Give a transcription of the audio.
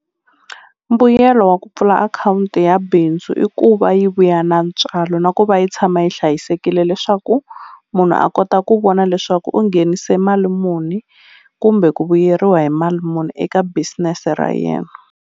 Mbuyelo wa ku pfula akhawunti ya bindzu i ku va yi vuya na ntswalo na ku va yi tshama yi hlayisekile leswaku munhu a kota ku vona leswaku u nghenise mali muni kumbe ku vuyeriwa hi mali muni eka business ra yena.